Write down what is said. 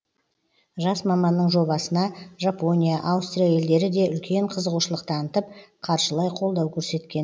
жас маманның жобасына жапония аустрия елдері де үлкен қызығушылық танытып қаржылай қолау көрсеткен